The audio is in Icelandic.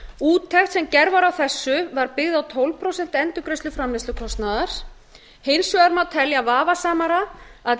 úttekt sem gerð var á þessu var byggð á tólf prósent endurgreiðslu framleiðslukostnaðar hins vegar má telja vafasamara að